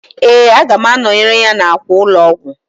Ee, aga m anọyere ya n'akwa ụlọọgwụ.